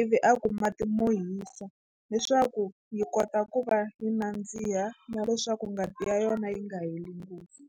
ivi a ku mati mo hisa leswaku yi kota ku va yi nandziha na leswaku ngati ya yona yi nga heli ngopfu.